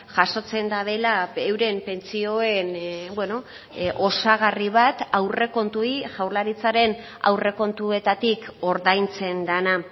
jasotzen dutela euren pentsioen osagarri bat aurrekontuei jaurlaritzaren aurrekontuetatik ordaintzen dena